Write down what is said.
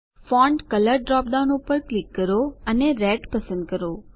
font colour drop down પર click કરો અને રેડ પસંદ કરો